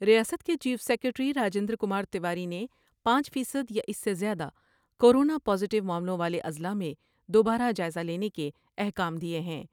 ریاست کے chief secretary راجبیند رکمار تیواری نے پانچ فیصد یا اس سے زیادہ کورونا پازیٹو معاملوں والے اضلاع میں دوبارہ جائزہ لینے کے احکام دیئے ہیں ۔